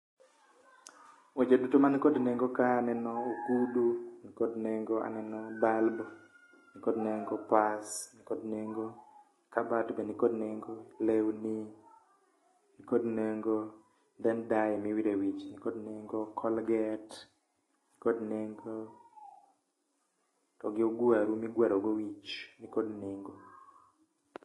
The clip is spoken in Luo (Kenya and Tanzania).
Weche duto man kod nengo kae aneno ogudu nikod nengo, aneno bulb nikod nengo, pas nikod nengo, kabat be nikod nengo, lewni nikod nengo then dye miwiro e wich be nikod nengo, colgate nikod nengo. Togi ogwaru migwaro godo wich be nikod nengo